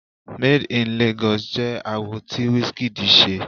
Made In Lagos jẹ́ àwo tí Wizkid ṣe.